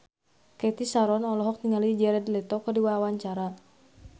Cathy Sharon olohok ningali Jared Leto keur diwawancara